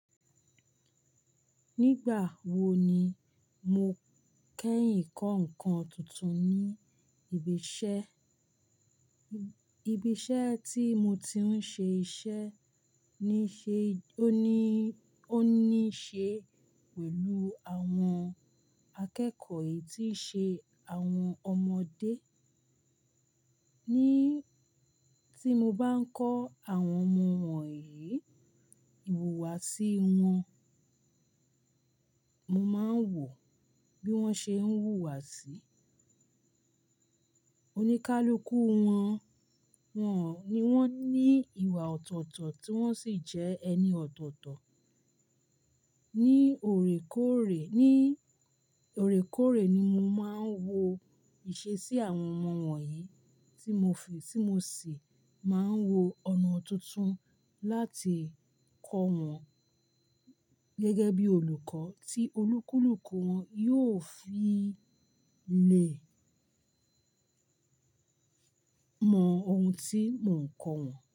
Nígbà wo ni mo kẹ́yìn kọ́ ǹkan tuntun ní ibi iṣẹ́? Ibi iṣẹ́ tí mo ti ń ṣe iṣẹ́ ní ṣe ó ní, ó ní ṣe pẹ̀lú àwọn akẹ́kọ̀ọ́ yìí tí ṣe àwọn ọmọdé. Ni tí mo bá ń kọ́ àwọn ọmọ wọ̀nyí, ìhùwàsí wọn, mo máa ń wò bí wọ́n ṣe ń hùwàsí. Oníkálukú wọn, wọn ò ní wọn ní ìwà ọ̀tọ̀ọ̀tọ̀ tí wọ́n sì jẹ́ ẹni ọ̀tọ̀ọ̀tọ̀. Ni òrékọ́ọ̀rẹ́, ní òrékọ́ọ̀rẹ́ ni mo máa ń wo ìṣe sí àwọn ọmọ wọ̀nyí tí mo fi, tí mo sì máa ń wo ọ̀nà tuntun láti kọ́ wọn gẹ́gẹ́ bí olùkọ́ tí onikalùkù wọn yóò fi le mọ ohun tí mò ń kọ wọn.